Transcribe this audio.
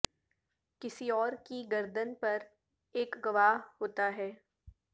کسی اور کی گردن پر ایک گواہ ہوتا ہے